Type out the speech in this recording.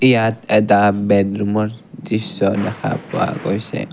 ইয়াত এটা বেড ৰুমৰ দৃশ্য দেখা পোৱা গৈছে।